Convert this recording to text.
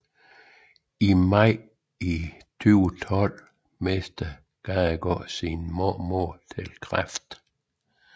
I maj 2012 mistede Gadegaard sin mormor til kræft